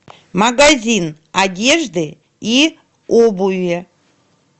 магазин одежды и обуви